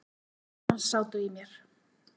Orð hans sátu í mér.